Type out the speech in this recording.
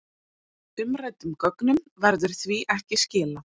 Umræddum gögnum verður því ekki skilað